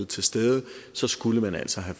til stede så skulle man altså have